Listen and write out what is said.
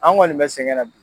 An kɔni bɛ sɛgɛnna